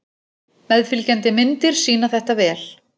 Meðfylgjandi myndir sýna þetta vel.